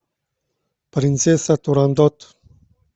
принцесса турандот